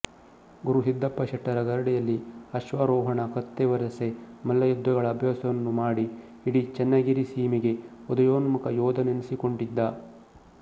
ಗುರು ಸಿದ್ದಪ್ಪ ಶೆಟ್ಟರ ಗರಡಿಯಲ್ಲಿ ಅಶ್ವಾರೋಹಣ ಕತ್ತಿ ವರಸೆ ಮಲ್ಲಯುದ್ಧಗಳ ಅಭ್ಯಾಸವನ್ನು ಮಾಡಿ ಇಡೀ ಚೆನ್ನಗಿರಿ ಸೀಮೆಗೆ ಉದಯೋನ್ಮುಖ ಯೋಧನೆನಿಸಿಕೊಂಡಿದ್ದ